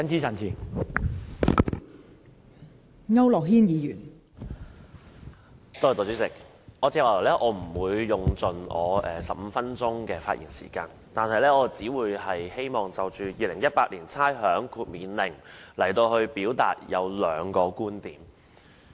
代理主席，我不會盡用15分鐘的發言時間，我只希望就《2018年差餉令》表達兩個觀點。